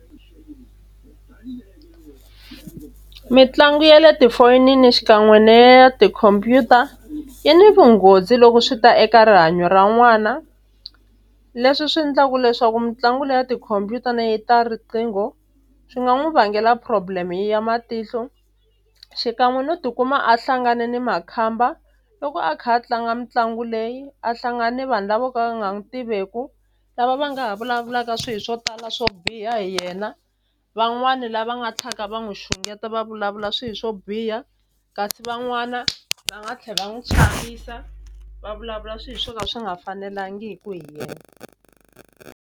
Mitlangu ya le tifonini xikan'we na ya tikhompyuta yi ni vunghozi loko swi ta eka rihanyo ra n'wana leswi swi endlaku leswaku mitlangu leyi ya tikhomphyuta ta riqingho swi nga n'wu vangela problem ya matihlo xikan'we no tikuma a hlangane ni makhamba loko a kha a tlanga mitlangu leyi a hlangani vanhu lavo ka va nga n'wu tiveku lava va nga ha vulavulaka swi swo tala swo biha hi yena van'wani lava nga tlhaka va n'wu xungeta va vulavula swi swo biha kasi van'wana va nga tlhela n'wi chavisa va vulavula swi swo ka swi nga fanelangiku hi yena.